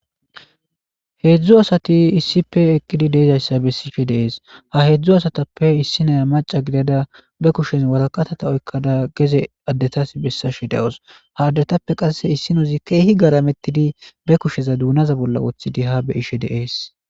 Heedzdzu asati issife eqqidi deezayssa bessife deees ha heedzdzu asatappe issi naya maca gidada be kushez waraqatata oykkada geze addetas bessashe dawos ha addetappe qasse issinozi keehi garamettidi be kusheza duunaza bolla wothidi ha be ishe deees.